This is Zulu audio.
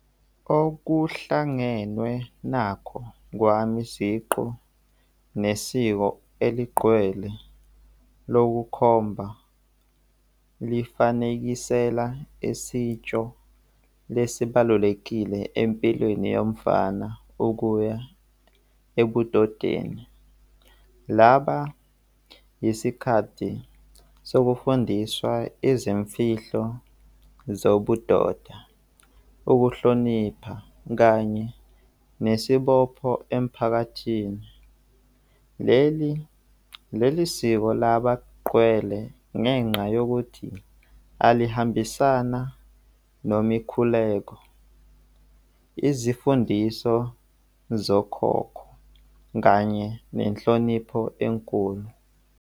Okuhlangenwe nakho kwami siqu nesiko eligqwele lokukhomba lifanekisela isitsho lesi balulekile empilweni yomfana ukuya ebudodeni. Laba isikhathi sokufundiswa izimfihlo zobudoda, ukuhlonipha kanye nesibopho emphakathini. Leli leli siko labagqwele ngenxa yokuthi alihambisana nemikhuleko, izimfundiso zokhokho kanye nenhlonipho enkulu.